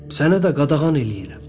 Sənə də qadağan eləyirəm.